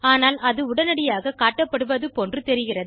ஆனால் அது உடனியாக காட்டப்படுவது போன்று தெரிகிறது